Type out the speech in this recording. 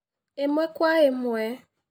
Ĩmwe kwa ĩmwe